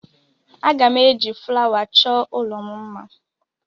Aga m eji flawa chọọ ụlọ m mma.